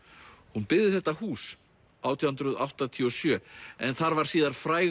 hún byggði þetta hús átján hundruð áttatíu og sjö en þar var síðar fræg